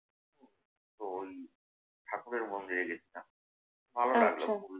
তো ওই ঠাকুরের মন্দিরে যেতাম। ভালো লাগতো।